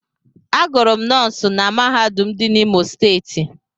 Agụrụ m nọọsin na mahadum dị n'Imo Steeti.